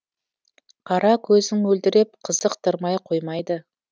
қара көзің мөлдіреп қызықтырмай қоймайды